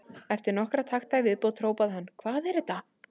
Eftir nokkra takta í viðbót hrópaði hann: Hvað er þetta?